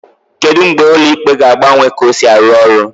Kedu mgbe ụlọ ikpe ga-agbanwe ka ọ si arụ ọrụ?